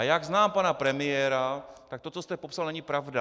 A jak znám pana premiéra, tak to, co jste popsal, není pravda.